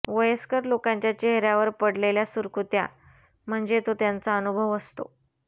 वयस्कर लोकांच्या चेहऱ्यावर पडलेल्या सुरकुत्या म्हणजे तो त्यांचा अनुभव असतो